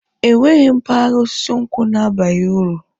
Enweghị mpaghara osisi nkwụ na-abaghi uru